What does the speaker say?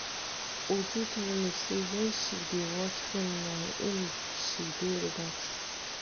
Uju tell me say na wen she dey watch film na im she dey relax